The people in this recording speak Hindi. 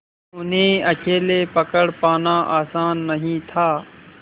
उन्हें अकेले पकड़ पाना आसान नहीं था